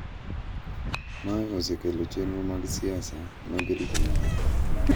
Mae osekelo chenro mag siasa mag rito mwandu